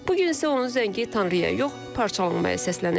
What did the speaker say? Bu gün isə onun zəngi Tanrıya yox, parçalanmaya səslənir.